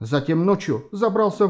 затем ночью забрался